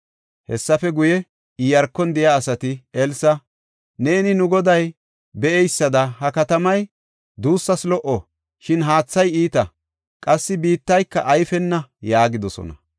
Hessafe guye, Iyaarkon de7iya asati Elsa, “Neeni nu goday be7eysada ha katamay duussas lo77o. Shin haathay iita; qassi biittayka ayfena” yaagidosona.